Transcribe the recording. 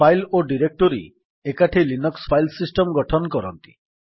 file ଓ directory ଏକାଠି Linux file system ଗଠନ କରନ୍ତି